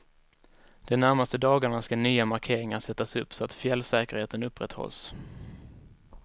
De närmaste dagarna ska nya markeringar sättas upp så att fjällsäkerheten upprätthålls.